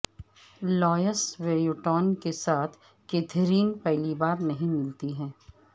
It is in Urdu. لوئس ویوٹون کے ساتھ کیتھرین پہلی بار نہیں ملتی ہے